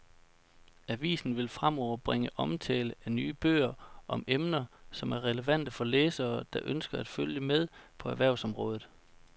Avisen vil fremover bringe omtale af nye bøger om emner, som er relevante for læsere, der ønsker at følge med på erhvervsområdet.